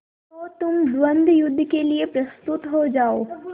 तो तुम द्वंद्वयुद्ध के लिए प्रस्तुत हो जाओ